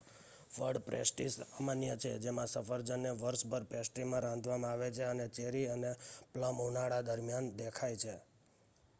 ફળપેસ્ટ્રી સામાન્ય છે જેમાં સફરજનને વર્ષભર પેસ્ટ્રીમાં રાંધવામાં આવે છે અને ચેરી અને પ્લમ ઉનાળા દરમિયાન દેખાય છે